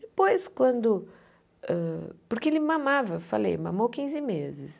Depois, quando hã... Porque ele mamava, eu falei, mamou quiinze meses.